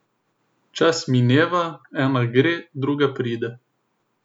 Čas mineva, ena gre, druga pride.